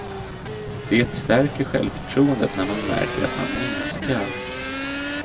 Det stärker självförtroendet när man märker att man minskar.